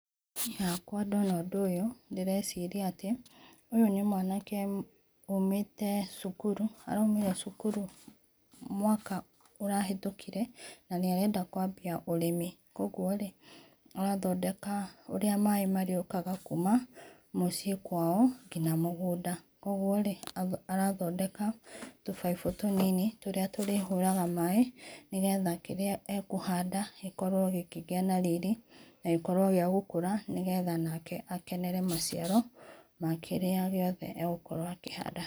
Niĩ hakwa ndona ũndũ ũyũ ndĩreciarĩa atĩ ũyũ nĩ mwanake ũmĩte cukuru araũmĩre cukuru mwaka ũrahĩtũkĩre na nĩ arenda kũambĩa ũrĩmi, kwoguo rĩ arathondeka ũrĩa maĩ marĩũkaga kũma mũciĩ inĩ kwao nginya mũgũnda kwogwo arathondeka tũbaibũ tũnĩnĩ tũrĩa tũrĩhũraga maĩ nĩgetha kĩrĩa akũhanda gĩkorwo gĩkĩgĩa na rĩrĩ na gĩkorwo gĩkĩgĩa gũkũra nĩgetha akenere maciaro makĩrĩa gĩothe agũkorwo akĩhanda.